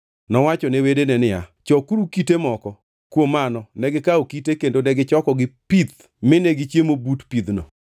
Nowacho ne wedene niya, “Chokuru kite moko.” Kuom mano negikawo kite kendo negichokogi pith mine gichiemo but pidhno.